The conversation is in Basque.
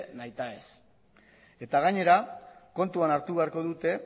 nahitaez eta gainera kontuan hartu beharko dute